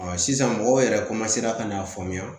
sisan mɔgɔw yɛrɛ ka n'a faamuya